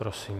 Prosím.